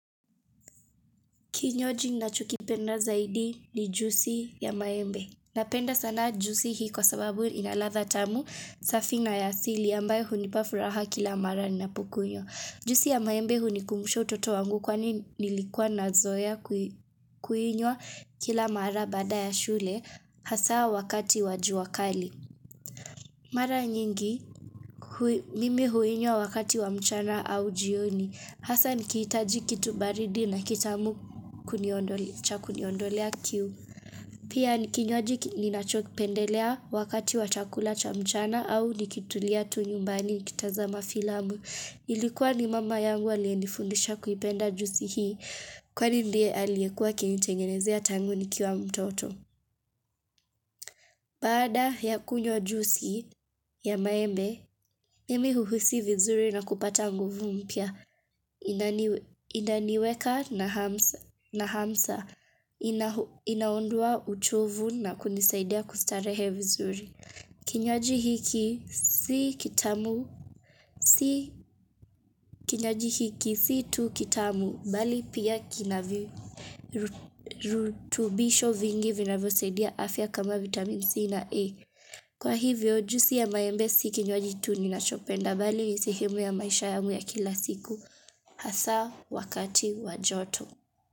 Kinywaji ninacho kipenda zaidi ni juisi ya maembe. Napenda sana juisi hii kwa sababu ina radha tamu safi na ya asili ambayo hunipa furaha kila mara ninapokunywa Juisi ya maembe hunikumbusha utoto wangu kwani nilikua nazoea kuinywa kila mara baada ya shule hasa wakati wa jua kali. Mara nyingi mimi huinywa wakati wa mchana au jioni hasa nikiitaji kitu baridi na kitamu kuniondo kuniondolea kiu. Pia ni kinywaji ninachokipendelea wakati wa chakula cha mchana au nikitulia tu nyumbani nikitazama filamu. Ilikuwa ni mama yangu aliye nifundisha kuipenda juisi hii kwani ndiye aliyekuwa akinitengenezea tangu nikiwa mtoto. Baada ya kunywa juisi ya maembe, mimi huhisi vizuri na kupata nguvu mpya. Inaniweka na hamsa inaondoa uchovu na kunisaidia kustarehe vizuri. Kinywaji hiki si kitamu si kinywaji hiki si tu kitamu bali pia kina virutubisho vingi vinavyo saidia afya kama vitamin C na E. Kwa hivyo juu si ya maembe si kinywaji tu ninachopenda bali ni sehemu ya maisha yangu ya kila siku hasa wakati wa joto.